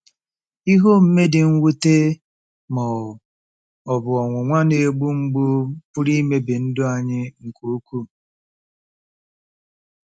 Ihe omume dị mwute ma ọ bụ ọnwụnwa na-egbu mgbu pụrụ imebi ndụ anyị nke ukwuu.